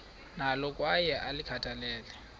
nalo kwaye ulikhathalele